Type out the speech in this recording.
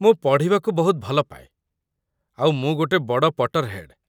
ମୁଁ ପଢ଼ିବାକୁ ବହୁତ ଭଲପାଏ, ଆଉ ମୁଁ ଗୋଟେ ବଡ଼ 'ପଟର୍‌ହେଡ୍' ।